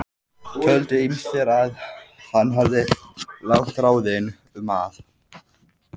Töldu ýmsir að hann hefði lagt á ráðin um að